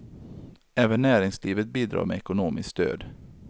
Även näringslivet bidrar med ekonomiskt stöd.